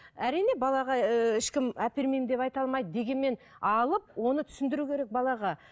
әрине балаға ііі ешкім әпермеймін деп айта алмайды дегенмен алып оны түсіндіру керек балаға